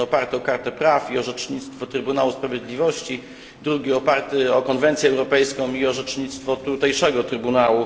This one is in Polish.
Jeden oparty o kartę praw i orzecznictwo Trybunału Sprawiedliwości, drugi oparty o konwencję europejską i orzecznictwo tutejszego trybunału.